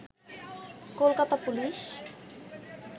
Kolkata police